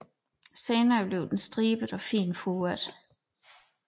Senere bliver den stribet og fint furet